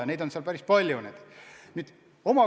Ja neid inimesi on hooldekodudes päris palju.